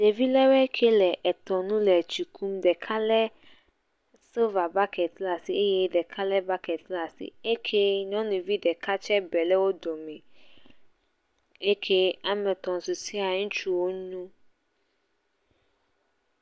Ɖevi lewoe ke le etɔnu le etsi kum, ɖeka le siliva baketi ɖe asi eye ɖeka lé baketi eye nyɔnuvi ɖeka tse be ɖe wo dome, eke woame etɛ̃ susua ŋutsu wo nyo.